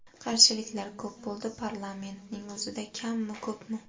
Qarshiliklar ko‘p bo‘ldi, parlamentning o‘zida kammi, ko‘pmi?